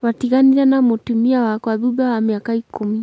twatiganire na mũtumia wakwa thutha wa mĩaka ikũmi